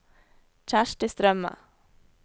Kjersti Strømme